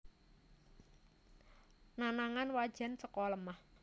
Nanangan wajan saka lemah